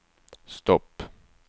stopp